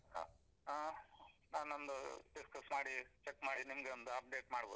ಹಾ, ಹಾ ನಾನೊಂದು discuss ಮಾಡಿ check ಮಾಡಿ, ನಿಮ್ಗೆ ಒಂದು update ಮಾಡ್ಬೋದು.